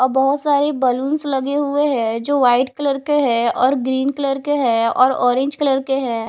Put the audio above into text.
अ बहोत सारी बलूंस लगे हुए है जो वाइट कलर के है और ग्रीन कलर के है और ऑरेंज कलर के है।